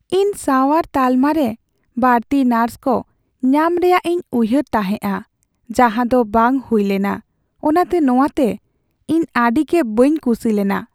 "ᱤᱧ ᱥᱟᱣᱟᱨ ᱛᱟᱞᱢᱟ ᱨᱮ ᱵᱟᱹᱲᱛᱤ ᱱᱟᱨᱥ ᱠᱚ ᱧᱟᱢ ᱨᱮᱭᱟᱜ ᱤᱧ ᱩᱭᱦᱟᱹᱨ ᱛᱟᱦᱮᱸᱜᱼᱟ, ᱡᱟᱸᱦᱟ ᱫᱚ ᱵᱟᱝ ᱦᱩᱭ ᱞᱮᱱᱟ, ᱚᱱᱟᱛᱮ ᱱᱚᱶᱟᱛᱮ ᱤᱧ ᱟᱹᱰᱤᱜᱮ ᱵᱟᱹᱧ ᱠᱩᱥᱤ ᱞᱮᱱᱟ ᱾